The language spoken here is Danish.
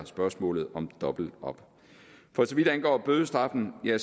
spørgsmålet om dobbelt op for så vidt angår bødestraffen ligger